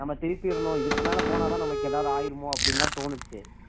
நாம திருப்பிடனும் இதுக்கு மேல போனால் தான் நமக்கு ஏதாவது ஆயிடுமோ அப்படின்னு தோணுச்சு